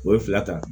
O ye fila ta